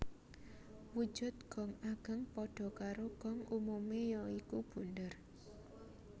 Wujud gong ageng padha karo gong umume ya iku bunder